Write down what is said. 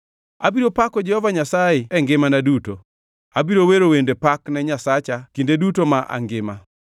Abiro pako Jehova Nyasaye e ngimana duto; abiro wero wende pak ne Nyasacha kinde duto ma angima.